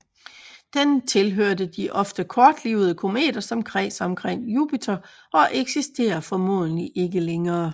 Den tilhørte de ofte kortlivede kometer som kredser omkring Jupiter og eksisterer formentlig ikke længere